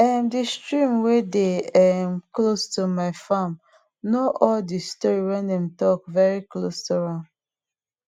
um de stream wey dey um close to my farm know all de story wey dem talk very close to am